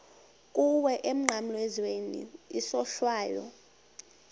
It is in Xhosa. kuwe emnqamlezweni isohlwayo